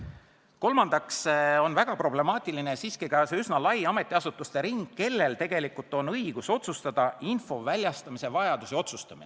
Kolmandaks on väga problemaatiline ka see üsna lai ring ametiasutusi, kellel on õigus otsustada info väljastamise vajaduse üle.